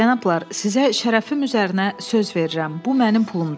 Cənablar, sizə şərəfim üzərinə söz verirəm, bu mənim pulumdur.